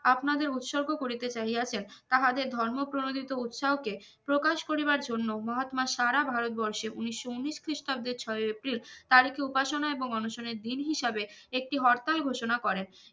আপনারদের উৎসর্গ করিতে চাইয়াছেন তাহাদের ধর্ম প্রণোদিত উৎসাহকে প্রকাশ করিবার জন্য মহাত্মা সারা ভারতবর্ষে উনিশশো উনিশ খ্রিস্টাব্দে ছয়ে এপ্রিল তার একটি উপাসনা এবং অনশনের দিন হিসাবে একটি হরতাল ঘোষণা করেন